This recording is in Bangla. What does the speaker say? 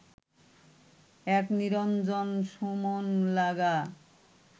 এক নিরঞ্জন সু মন লাগা